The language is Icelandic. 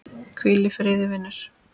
Hvíl í friði vinur.